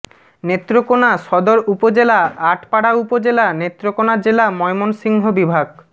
নেত্রকোণা সদর উপজেলা আটপাড়া উপজেলা নেত্রকোণা জেলা ময়মনসিংহ বিভাগ